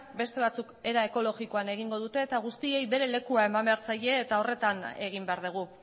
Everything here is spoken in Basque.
beste batzuk era ekologikoan egingo dute eta guztiei bere lekua eman behar zaie eta horretan egin behar dugu